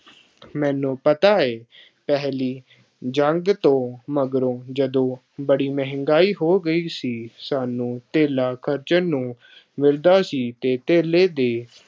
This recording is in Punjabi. ਮੈਨੂੰ ਪਤਾ ਹੈ ਪਹਿਲੀ ਜੰਗ ਤੋਂ ਮਗਰੋਂ ਜਦੋਂ ਬੜੀ ਮਹਿੰਗਾਈ ਹੋ ਗਈ ਸੀ, ਸਾਨੂੰ ਧੇਲਾ ਖਰਚਣ ਨੂੰ ਮਿਲਦਾ ਸੀ ਅਤੇ ਧੇਲੇ ਦੇ